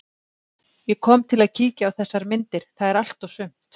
Ég kom til að kíkja á þessar myndir, það er allt og sumt.